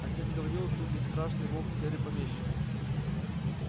отец говорил тут есть страшный волк серый помещик